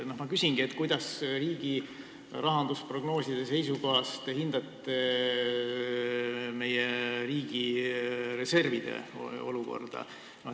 Ma küsingi, kuidas te riigi rahandusprognooside seisukohast hindate meie riigireservide olukorda.